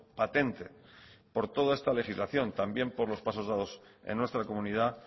patente por toda esta legislación también por los pasos dados en nuestra comunidad